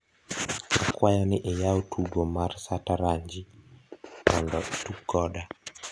akwayo ni iyaw tugo mar sataranji mondo itug koda